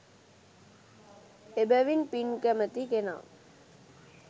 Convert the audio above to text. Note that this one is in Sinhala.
එබැවින් පින් කැමති කෙනා